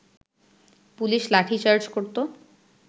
police lathi charge করত